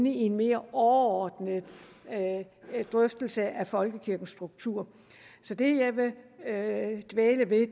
i en mere overordnet drøftelse af folkekirkens struktur så det jeg vil dvæle ved